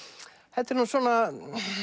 þetta er nú svona